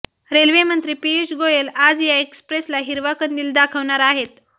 रेल्वेमंत्री पियुष गोयल आज या एक्सप्रेसला हिरवा कंदील दाखवणार आहेत